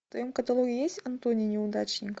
в твоем каталоге есть антони неудачник